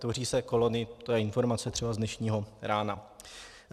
Tvoří se kolony - to je informace třeba z dnešního rána.